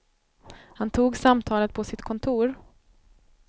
Han tog samtalet på sitt kontor.